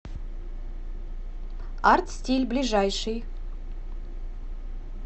арт стиль ближайший